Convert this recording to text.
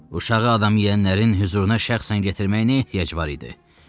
Uşağı adamiyənlərin hüzuruna şan-şöhrət gətirməyə ehtiyac var idi.